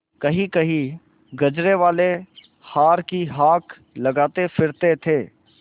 कहींकहीं गजरेवाले हार की हाँक लगाते फिरते थे